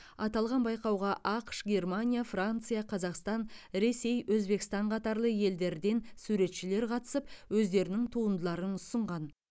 аталған байқауға ақш германия франция қазақстан ресей өзбекстан қатарлы елдерден суретшілер қатысып өздерінің туындыларын ұсынған